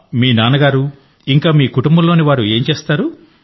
మీ నాన్న గారు ఇంకా మీ కుటుంబంలోని వారు ఏం చేస్తారు